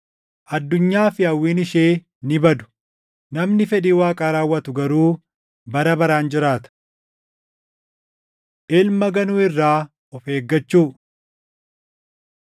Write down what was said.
Addunyaa fi hawwiin ishee ni badu; namni fedhii Waaqaa raawwatu garuu bara baraan jiraata. Ilma Ganuu Irraa Of Eeggachuu